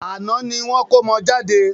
Àná ni wọ́n kómọ jade.